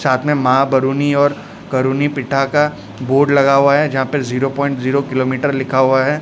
साथ में मां बरुनी और करुनी पिटा का बोर्ड लगा हुआ है। जहां पे जीरो पॉइंट जीरो लिखा हुआ है।